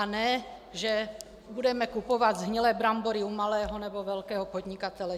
A ne že budeme kupovat shnilé brambory u malého nebo velkého podnikatele.